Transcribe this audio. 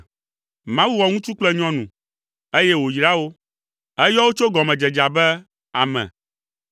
Mawu wɔ ŋutsu kple nyɔnu, eye wòyra wo. Eyɔ wo tso gɔmedzedzea be “Ame.”